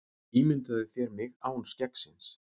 Ímyndaðu þér mig án skeggsins.